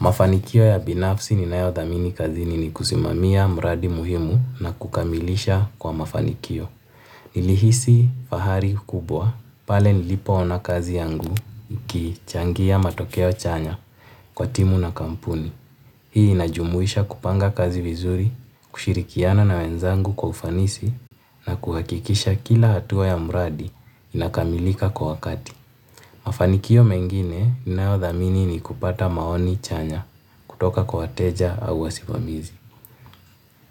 Mafanikio ya binafsi ninayo dhamini kazini ni kusimamia mradi muhimu na kukamilisha kwa mafanikio. Nilihisi fahari kukubwa, pale nilipoona kazi yangu ikichangia matokeo chanya kwa timu na kampuni. Hii inajumuisha kupanga kazi vizuri, kushirikiana na wenzangu kwa ufanisi na kuhakikisha kila hatua ya mradi inakamilika kwa wakati. Mafanikio mengine ninayodhamini ni kupata maoni chanya kutoka kwa wateja au wasimamizi.